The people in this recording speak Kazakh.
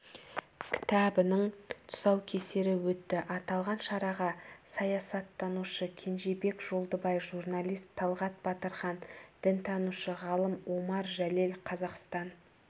кітабының тұсаукесері өтті аталған шараға саясаттанушы кенжеболат жолдыбай журналист талғат батырхан дінтанушы-ғалым омар жәлел қазақстан